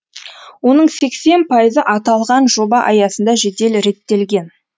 оның сексен пайызы аталған жоба аясында жедел реттелген